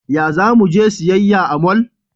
Ya za mu je siyayya a mall?